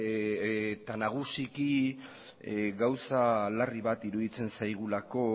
ere eta nagusiki gauza larri bat iruditzen zaigulako